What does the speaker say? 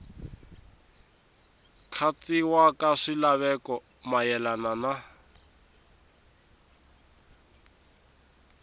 katsiwa ka swilaveko mayelana na